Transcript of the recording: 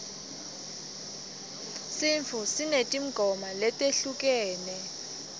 sintfu sinetimgoma letehlukene